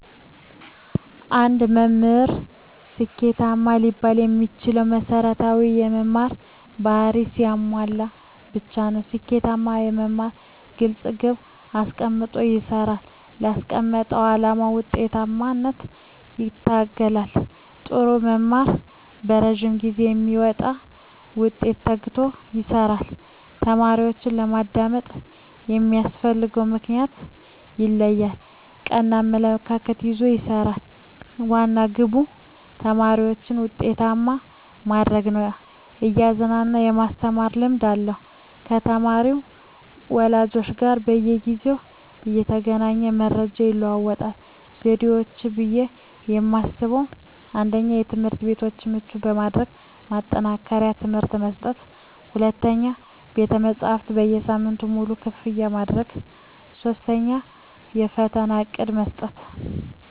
አንድ መምህር ስኬታማ ሊባል የሚችለው መሰረታዊ የመምህር ባህርያትን ሲያሟላ ብቻ ነው። ስኬታማ መምህር ግልፅ ግብ አስቀምጦ ይሰራል: ላስቀመጠው አላማ ውጤታማነት ይተጋል, ጥሩ መምህር በረዥም ጊዜ ለሚመጣ ውጤት ተግቶ ይሰራል። ተማሪዎችን በማዳመጥ የሚያስፈልግበትን ምክንያት ይለያል ,ቀና አመለካከት ይዞ ይሰራል, ዋና ግቡ ተማሪዎችን ውጤታማ ማድረግ ነው እያዝናና የማስተማር ልምድ አለው ከተማሪ ወላጆች ጋር በየጊዜው እየተገናኘ መረጃ ይለዋወጣል። ዘዴዎች ብዬ የማስበው 1ኛ, ትምህርትቤቶችን ምቹ በማድረግ ማጠናከሪያ ትምህርት መስጠት 2ኛ, ቤተመፅሀፍትን ሳምንቱን ሙሉ ክፍት ማድረግ 3ኛ, ፈተና በእቅድ መስጠት።